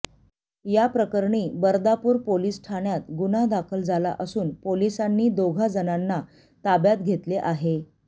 या प्रकरणी बर्दापूर पोलिस ठाण्यात गुन्हा दाखल झाला असून पोलिसांनी दोघाजणांना ताब्यात घेतले आहे